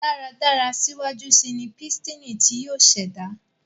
dáradára síwájú síi ní Pístìnì tí yóò ṣẹda